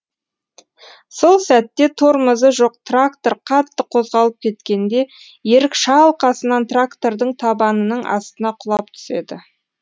сол сәтте тормозы жоқ трактор қатты қозғалып кеткенде ерік шалқасынан трактордың табанының астына құлап түседі